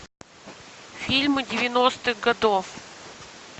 фильмы девяностых годов